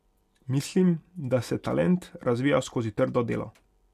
Mislim, da se talent razvija skozi trdo delo.